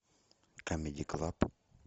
камеди клаб